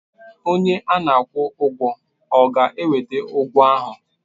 Onye a na-akwụ ụgwọ ọ ga-eweta ụgwọ ahụ?